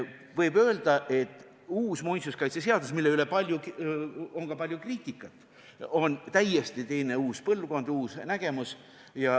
Võib öelda, et uus muinsuskaitseseadus, mille kohta on ka palju kriitikat tehtud, on täiesti uus põlvkond, uus nägemus.